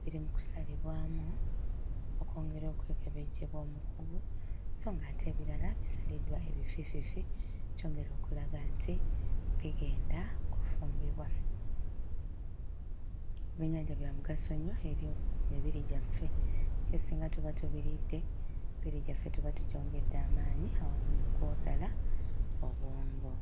biri mu kusalibwamu okwongera okwekebejjebwa omukugu so ng'ate ebirala bisaliddwa ebifiififi, kyongera okulaga nti bigenda kufumbibwa. Ebyennyanja bya mugaso nnyo eri emibiri gyaffe era singa tuba tubiridde emibiri gyaffe tuba tugyongedde amaanyi awamu n'okuwagala obwongo.